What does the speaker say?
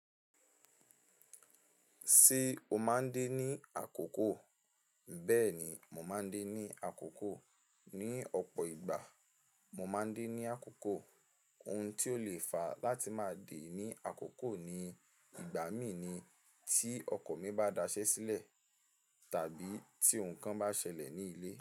Ṣé o máa ń dé ní àkókò? Bẹ́ẹ̀ni, mo máa ń dé ní àkókò. Ni ọ̀pọ̀ ìgbà, mo máa ń dé ní àkókò. Ohun tí ó le fa láti máa dè ní àkókò ni ìgbà mí ni tí ọkọ̀ mi bá daṣẹ́ sílẹ̀ tàbí tí ohun kan bá ṣẹlẹ̀ ní ilé.